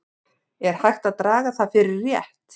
Er hægt að draga það fyrir rétt?